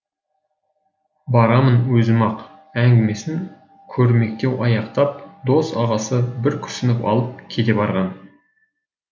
барамын өзім ақ әңгімесін кермектеу аяқтап дос ағасы бір күрсініп алып кете барған